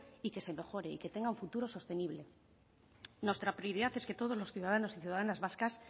y que se mejore y que tenga un futuro sostenible nuestra prioridad es que todos los ciudadanos y ciudadanas vascas